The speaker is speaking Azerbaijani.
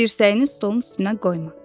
Dirsəyini stolun üstünə qoyma.